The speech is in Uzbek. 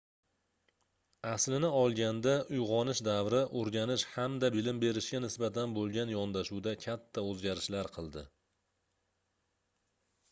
aslini olganda uygʻonish davri oʻrganish hamda bilim berishga nisbatan boʻlgan yondashuvda katta oʻzgarishlar qildi